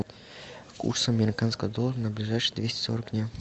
курс американского доллара на ближайшие двести сорок дня